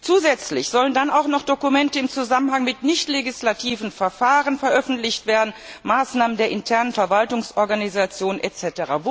Zusätzlich sollen dann auch noch Dokumente im Zusammenhang mit nichtlegislativen Verfahren veröffentlicht werden, Maßnahmen der internen Verwaltungsorganisation etc.